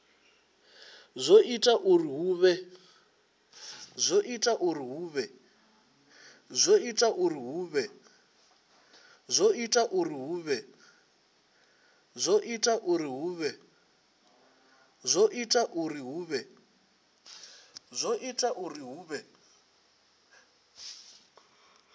zwo ita uri hu vhe